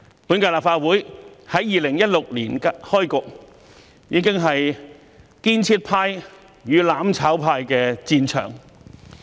本屆立法會在2016年開局，已是建設派與"攬炒派"的戰場。